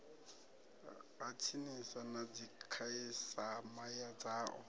ha tsinisa na dzikhasiama dzao